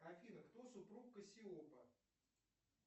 афина кто супруг кассиопа